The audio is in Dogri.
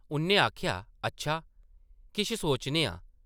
उʼन्नै आखेआ, ‘‘अच्छा! किश सोचने आं ।’’